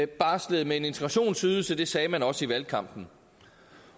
barslede med en integrationsydelse det sagde man også i valgkampen